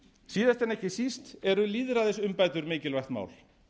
síðast en ekki síst eru lýðræðisumbætur mikilvægt mál